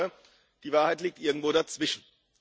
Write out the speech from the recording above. Ich glaube, die Wahrheit liegt irgendwo dazwischen.